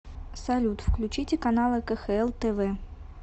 салют включите каналы кхл тв